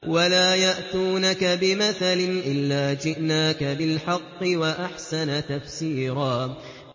وَلَا يَأْتُونَكَ بِمَثَلٍ إِلَّا جِئْنَاكَ بِالْحَقِّ وَأَحْسَنَ تَفْسِيرًا